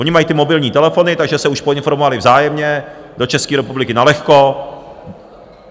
Oni mají ty mobilní telefony, takže se už poinformovali vzájemně - do České republiky nalehko.